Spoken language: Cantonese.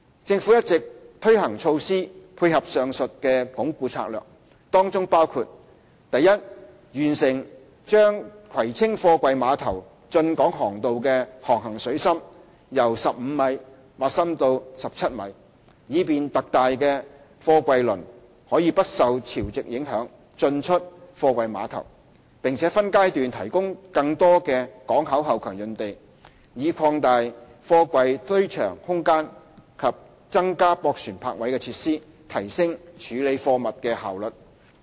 政府一直推行措施，配合上述的"鞏固"策略。當中包括：第一，完成把葵青貨櫃碼頭的進港航道的航行水深由15米挖深至17米，以便特大貨櫃輪可不受潮汐影響進出貨櫃碼頭；並分階段提供更多港口後勤用地，以擴大貨櫃堆場空間及增加駁船泊位設施，提升處理貨物的效率。